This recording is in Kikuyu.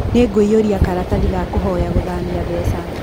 Nĩngũiyũria karatathi ga kũhoya gũthamia mbeca.